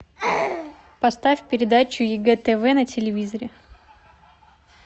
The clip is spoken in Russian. поставь передачу егэ тв на телевизоре